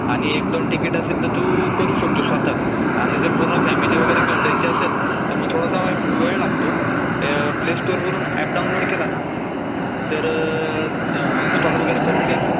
आणि एक दोन तिकीट असेल तर तू करू शकतो स्वतः च स्वतः आणि जर पूर्ण फॅमिली वगैरे जायची असेल तर मग थोडासा वेळ लागतो, प्ले स्टोअर वरून ऍप डाऊनलोड केला ना तर इन्सटॉल वगैरे करून घ्यायचं,